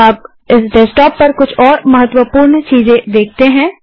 अब इस डेस्कटॉप पर कुछ और महत्त्वपूर्ण चीजें देखते हैं